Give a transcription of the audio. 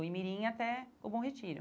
Do Imirim até o Bom Retiro.